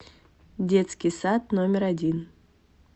детский сад номер один